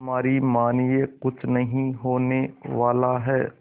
हमारी मानिए कुछ नहीं होने वाला है